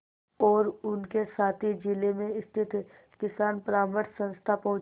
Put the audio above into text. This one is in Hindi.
और उनके साथी जिले में स्थित किसान परामर्श संस्था पहुँचे